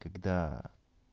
когда